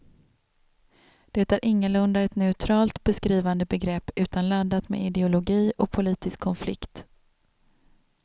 Det är ingalunda ett neutralt beskrivande begrepp utan laddat med ideologi och politisk konflikt.